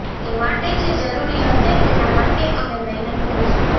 એ માટે જે જરૂરી હશે તેના માટે અમે મહેનત કરીશું